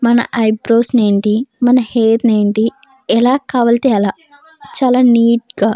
మన ఐబ్రోస్ ని ఏంటి మన హెయిర్ ని ఏంటి ఎలా కావాలి అంటే ఎలా చాలా నీట్ గా --